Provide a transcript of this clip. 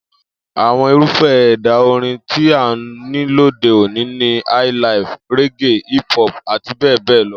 Àwo̩n irúfé̩ è̩dà orin tí a ní lóde òní ni highlife, reggae, hiphop àti bé̩è̩ bé̩è̩ lo